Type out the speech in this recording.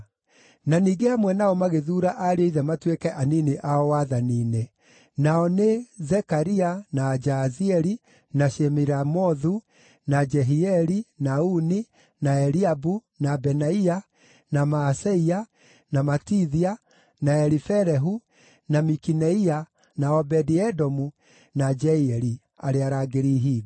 na ningĩ hamwe nao magĩthuura ariũ a ithe matuĩke anini ao wathani-inĩ. nao nĩ: Zekaria, na Jaazieli, na Shemiramothu, na Jehieli, na Uni, na Eliabu, na Benaia, na Maaseia, na Matithia, na Elifelehu, na Mikineia, na Obedi-Edomu, na Jeieli, arĩa arangĩri ihingo.